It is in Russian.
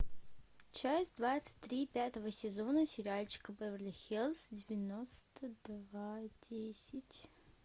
часть двадцать три пятого сезона сериальчика беверли хиллз девяносто два десять